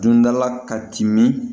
Dundala ka timin